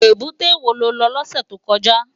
Ébùté wó ló lò lòsè tókòjá?